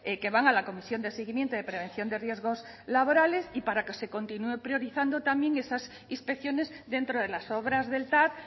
que van a la comisión de seguimiento de prevención de riesgos laborales y para que se continúen priorizando también esas inspecciones dentro de las obras del tav